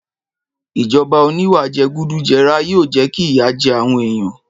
Ìjọba oníwà jẹgúdújẹrá yóò jẹ́ kí ìyà jẹ àwọn èèyàn